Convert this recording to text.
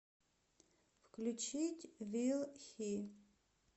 включить вил хи